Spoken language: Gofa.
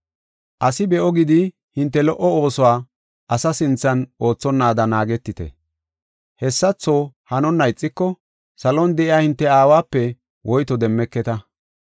“Asi be7o gidi hinte lo77o oosuwa asa sinthan oothonnaada naagetite. Hessatho hanonna ixiko salon de7iya hinte Aawape woyto demmeketa.